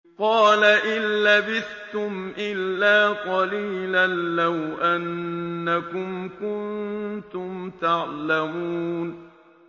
قَالَ إِن لَّبِثْتُمْ إِلَّا قَلِيلًا ۖ لَّوْ أَنَّكُمْ كُنتُمْ تَعْلَمُونَ